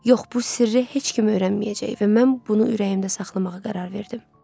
Yox, bu sirri heç kim öyrənməyəcək və mən bunu ürəyimdə saxlamağa qərar verdim.